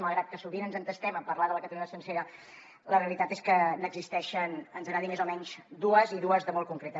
malgrat que sovint ens entestem a parlar de la catalunya sencera la realitat és que n’existeixen ens agradi més o menys dues i dues de molt concretes